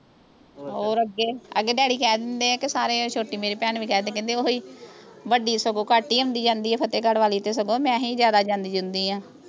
ਹੋਰ ਅੱਗੇ ਅੱਗੇ ਡੈਡੀ ਕਹਿ ਦਿੰਦੇ ਆ ਕ ਸਾਰੇ ਮੇਰੀ ਛੋਟੀ ਮੇਰੀ ਭੈਣ ਵੀ ਕਹਿ ਦਿੰਦੀ ਕਹਿੰਦੀ ਓਹ ਹੀ ਵੱਡੀ ਸਗੋਂ ਘੱਟ ਹੀ ਆਉਂਦੀ ਜਾਂਦੀ ਆ ਫਤੇਹਗੜ੍ਹ ਵਾਲੀ ਤੇ ਸਗੋਂ ਮੈਂ ਹੀ ਜਿਆਦਾ ਜਾਂਦੀ ਜੂਦੀ ਆਂ